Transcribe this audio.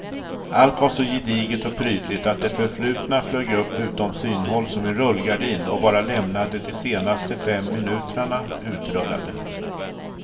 Allt var så gediget och prydligt att det förflutna flög upp utom synhåll som en rullgardin och bara lämnade de senaste fem minuterna utrullade.